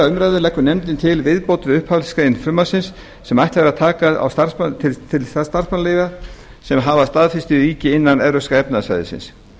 umræðu leggur nefndin til viðbót við upphafsgrein frumvarpsins sem ætlað er að taka til starfsmannaleiga sem hafa staðfestu í ríki innan evrópska efnahagssvæðisins